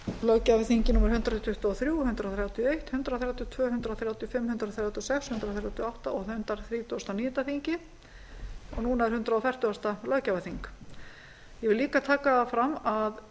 löggjafarþingi númer hundrað tuttugu og þrjú hundrað þrjátíu og eitt hundrað þrjátíu og tvö hundrað þrjátíu og fimm hundrað þrjátíu og sex hundrað þrjátíu og átta og hundrað þrítugasta og níunda þingi og núna er hundrað fertugasta löggjafarþing ég vil líka taka það fram að